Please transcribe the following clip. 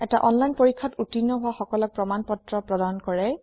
এটা অনলাইন পৰীক্ষাত উত্তীৰ্ণ হোৱা সকলক প্ৰমাণ পত্ৰ প্ৰদান কৰে